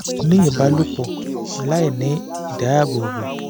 ní ìbálòpọ̀ láìní ìdáàbòbò